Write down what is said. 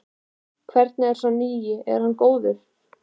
Hvernig er sá nýi, er hann góður?